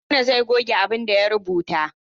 Haruna zai goge abin da ya rubuta.